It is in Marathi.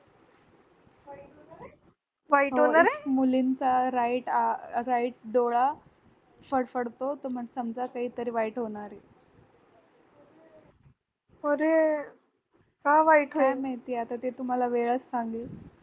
मुलींचा right अं right डोळा फडफडतो तर मग समजा काहीतरी वाईट होणारए काय माहित ते आता तुम्हाला वेळच सांगेल